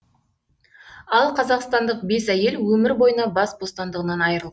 ал қазақстандық бес әйел өмір бойына бас бостандығынан айырылды